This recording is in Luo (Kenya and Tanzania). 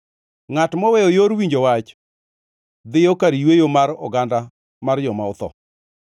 Ngʼat moweyo yor winjo wach dhiyo kar yweyo mar oganda mar joma otho.